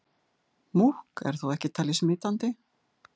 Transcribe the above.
Múkk er þó ekki talið smitandi.